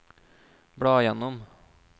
bla gjennom